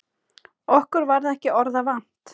Okkur varð ekki orða vant.